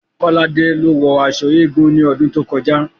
Kolade ló wọ aṣọ eégún ní ọdún tó kọjá